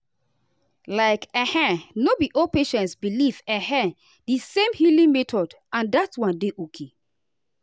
like[um]no be all patients believe[um]di same healing method and that one dey okay.